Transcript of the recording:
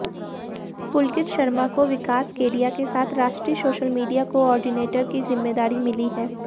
पुलकित शर्मा को विकास केडिया के साथ राष्ट्रीय सोशल मीडिया कोऑर्डिनेटर की जिम्मेदारी मिली है